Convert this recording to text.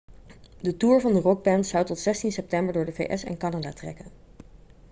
de toer van de rockband zou tot zestien september door de vs en canada trekken